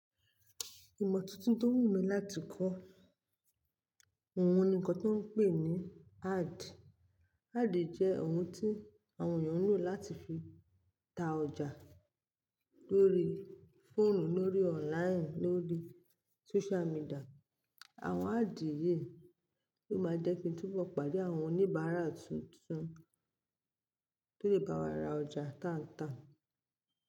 Ìmọ̀ tuntun tó wù mí láti kọ́ òun ni nǹkan tó ń pè ní ad. Ad jẹ́ ohun tí àwọn ènìyàn ń lò láti fi ta ọjà lórí fóònù, lórí online, lórí social media. Àwọn ad yìí ló máa jẹ́ kí n túbọ̀ pàdé àwọn oníbàárà tuntun tó lè bá wa ra ọjà tán tán.